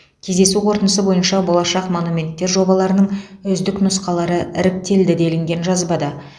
кездесу қорытындысы бойынша болашақ монументтер жобаларының үздік нұсқалары іріктелді делінген жазбада